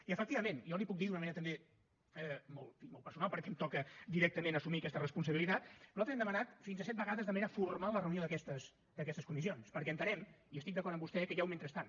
i efectivament jo li ho puc dir d’una manera també molt personal perquè em toca directament assumir aquesta responsabilitat nosaltres hem demanat fins a set vegades de manera formal la reunió d’aquestes comissions perquè entenem estic d’acord amb vostè que hi ha un mentrestant